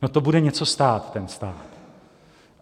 No, to bude něco stát ten stát.